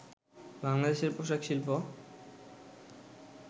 বাংলাদেশের পোশাক শিল্প